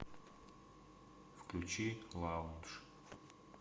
включи лаундж